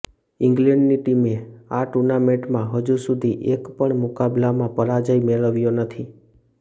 ઇંગ્લેન્ડની ટીમે આ ટૂર્નામેન્ટમાં હજુ સુધી એક પણ મુકાબલામાં પરાજય મેળવ્યો નથી